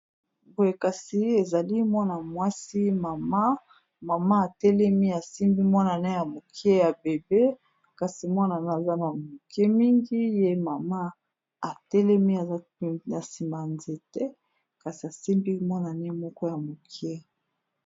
Poye kasi ezali mwana mwasi mama mama atelemi asimbi mwanane ya mokie ya bebe, kasi mwanane aza na moke mingi ye mama atelemi aza na nsima ya nzete kasi asimbi mwanane moko ya mokie